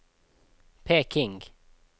Peking